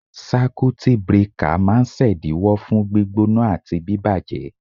Sákútì brekà máa ń ṣèdíwọ́ fún gbígbóná àti bíbàjẹ́.